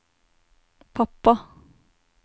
pappa